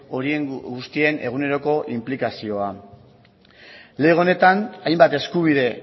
horien guztien eguneroko inplikazioa lege honetan hainbat eskubide